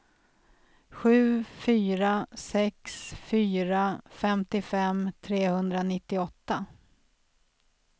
sju fyra sex fyra femtiofem trehundranittioåtta